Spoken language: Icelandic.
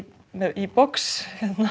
í box